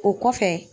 O kɔfɛ